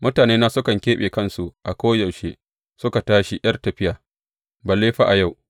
Mutanena sukan keɓe kansu a koyaushe suka tashi ’yar tafiya, balle fa a yau!